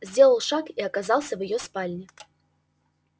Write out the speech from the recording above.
сделал шаг и оказался в её спальне